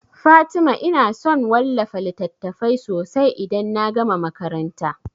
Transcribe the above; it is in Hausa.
Fatima ina son wallafa littatafai sosai idan na gama makaranta